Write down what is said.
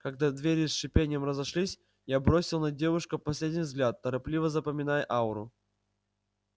когда двери с шипением разошлись я бросил на девушку последний взгляд торопливо запоминая ауру